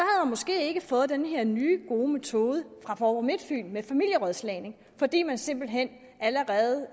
måske ikke fået den her nye gode metode fra fåborg midtfyn med familierådslagning fordi man simpelt hen allerede